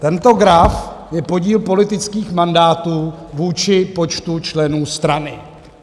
Tento graf je podíl politických mandátů vůči počtu členů strany.